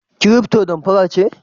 Kiriftpo damfara ce?